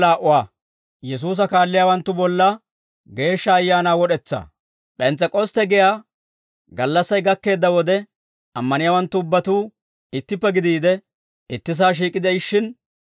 P'ens's'ek'ostte giyaa gallassay gakkeedda wode, ammaniyaawanttu ubbatuu ittippe gidiide, ittisaa shiik'i de'ishshin,